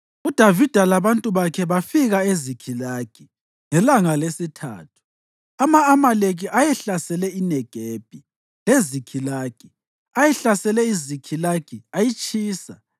UDavida labantu bakhe bafika eZikhilagi ngelanga lesithathu. Ama-Amaleki ayehlasele iNegebi leZikhilagi. Ayehlasele iZikhilagi ayitshisa,